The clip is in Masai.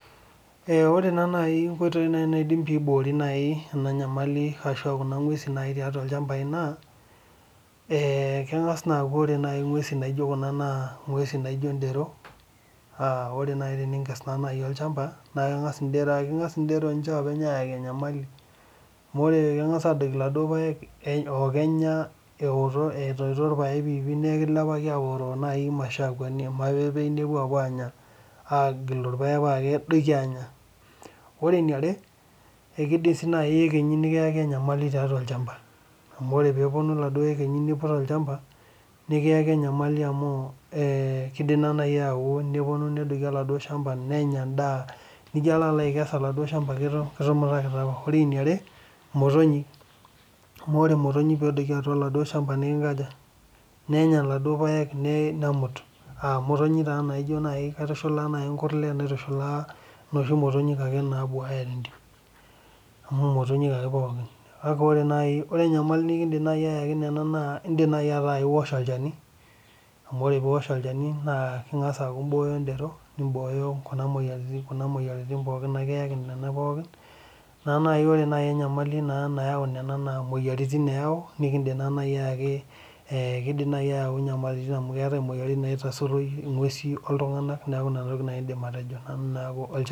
Ore taa naaj onkoitoi naidim aiboorie ena nyamali ashu nguesi naaji naingial ilchampai naa keng'as naaku, ore nguesi naijo Kuna naa ng'uesin naijo dero. ore naa teninkes naaji olchampa, naa ekingas idero oopeny aayaki enyamali. amu ore keng'as aadoiki iladuoo paek. eoto, etoito ilpaek piipi. neeku kilepaki aapuo naaji aanya, aagilu irpaek paa kedoiki anya. orw eniare ekidim sii naaji iyekenyi nikiyaki enyamali tiatua olchampa. nepuonu iladuoo yekenyi niput olchampa, nikiyaki enyamali amu, kidim naaji ayetu nikiyaki oladuo shampa, nenya edaa. nijo alp aikes oladuoo shampa kitumitakita apa. ore eniare imotonyik. amu ore motonyik pee edoiki oladuoo shampa. nenya iladuoo paek. nemut. imotonyil taadoi naa kaitushulaa nkurlen. naitushalaa motonyik ake nabuuaya tentim. amu motonyik ake pookin. kake ore..naaji enyamali nikidim aayaki Nena naa idim naaji ataa iwosh olchani. amu ore pee iosh olchani naa ing'as aibooyo dero. nibooyo moyiaritin pookin